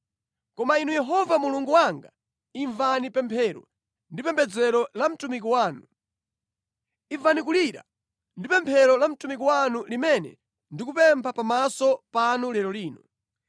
Koma Inu Yehova Mulungu wanga, imvani pemphero ndi pembedzero la mtumiki wanu. Imvani kulira ndi pemphero la mtumiki wanu limene ndikupempha pamaso panu lero lino.